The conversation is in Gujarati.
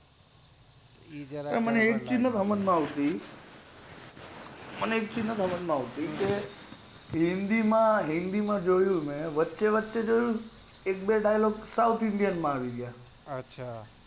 એ જરાક મને એક ચીજ સમાજ માં થી આવતી કે હિન્દી માં જોયેલું મેં વચ્ચે અમુક dialogue છે ને south india માં આવી ગયા